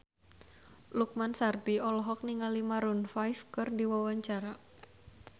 Lukman Sardi olohok ningali Maroon 5 keur diwawancara